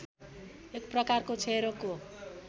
एक प्रकारको क्षयरोगको